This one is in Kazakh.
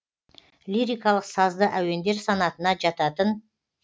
лирикалық сазды әуендер санатына жататын